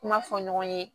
Kuma fɔ ɲɔgɔn ye